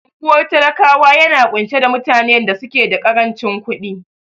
Unguwar talakawa yana ƙunshe da mutane da suke da karancin ƙudin